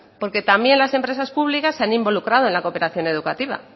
porque también las empresas públicas se han involucrado en la cooperación educativa